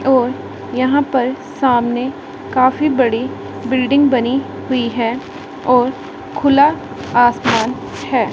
और यहां पर सामने काफी बड़ी बिल्डिंग बनी हुई है और खुला आसमान है।